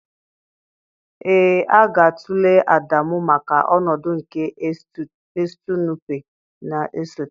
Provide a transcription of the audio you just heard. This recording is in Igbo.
Ee, a ga-atụle Adamu maka ọnọdụ nke Estu Nụpe na-esote